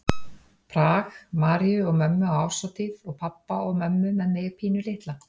Prag, Maríu og mömmu á árshátíð og pabba og mömmu með mig pínulitla.